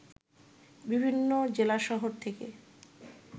বিভিন্ন জেলাশহর থেকে